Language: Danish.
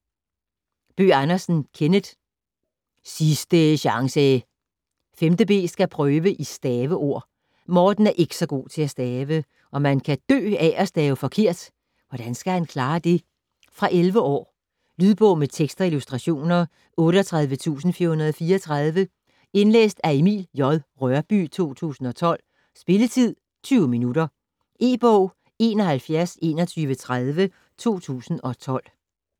Bøgh Andersen, Kenneth: Sisdæ sjangsæ 5.b skal have prøve i staveord. Morten er ikke god til at stave, og man kan dø af at stave forkert. Hvordan skal han klare det? Fra 11 år. Lydbog med tekst og illustrationer 38434 Indlæst af Emil J. Rørbye, 2012. Spilletid: 0 timer, 20 minutter. E-bog 712130 2012.